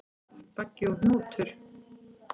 Baggi og Hnútur,